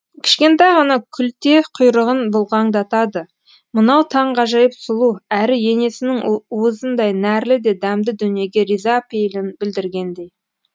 кішкентай ғана күлте құйрығын бұлғаңдатады мынау таңғажайып сұлу әрі енесінің уызындай нәрлі де дәмді дүниеге риза пейілін білдіргендей